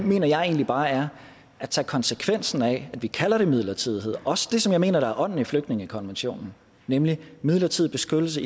mener jeg egentlig bare er at tage konsekvensen af at vi kalder det midlertidighed og det også det som jeg mener er ånden i flygtningekonventionen nemlig midlertidig beskyttelse